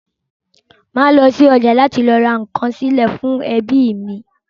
Màá lọ́ sí ọjà láti ra nǹkan sílé fún ẹbí mi.